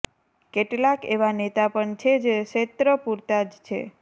કેટલાક એવા નેતા પણ છે જે ક્ષેત્ર પૂરતા જ છે